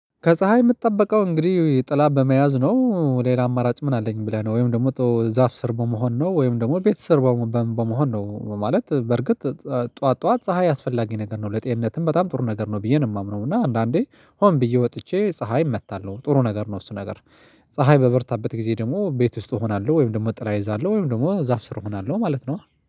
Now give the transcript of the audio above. ከፀሀይ የምትጠበቀው እነግዲህ ጥላ በመያዝ ነው ሌላ አማራጭ ምን አለኝ ብለህ ነው። ወይም ደግሞ ዛፍ ስር በመሆን ነው ወይም ደግሞ ቤት ስር በ በመሆን ነው። ማለት በርግጥ ጠዋት ጠዋት ፀሀይ አስፈላጊ ነገር ነው። ለጤንነትም በጣም ጥሩ ነገር ነው ብዬ ነው የማምነው እና አንዳንዴ ሆን ብዬ ወጥቼ ፀሀይ እመታለሁ። ጥሩ ነገር ነው። እሱ ነገር ፀሀይ በበረታበት ጊዜ ደግሞ ቤት ውስጥ አሆናለሁ ወይም ደግሞ ጥላ እይዛለሁ ወይም ደግሞ ዛፍ ስር እሆናለሁ ማለት ነው።